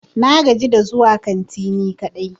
Na gaji da zuwa kanti ni kadai.